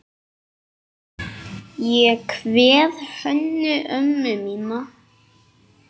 Ég kveð Hönnu ömmu mína.